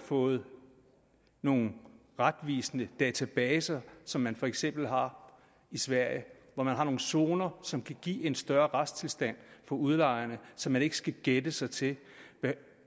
fået nogen retvisende databaser som man for eksempel har i sverige hvor man har nogle zoner som kan give en større retstilstand for udlejerne så man ikke skal gætte sig til